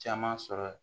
Caman sɔrɔ